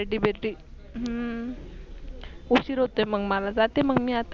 party बिर्टी हम्म उशीर होते मग मला जाते मग मी आता